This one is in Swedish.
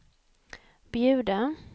bjuda